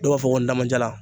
Dɔw b'a fɔ ko ndamajalan.